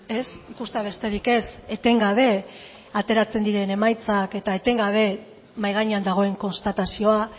ez ikustea besterik ez etengabe ateratzen diren emaitzak eta etengabe mahai gainean dagoen konstatazioa